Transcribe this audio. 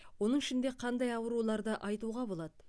оның ішінде қандай ауруларды айтуға болады